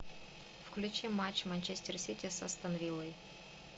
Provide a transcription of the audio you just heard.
включи матч манчестер сити с астон виллой